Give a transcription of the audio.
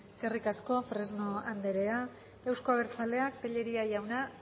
eskerrik asko fresno anderea euzko abertzaleak tellería jauna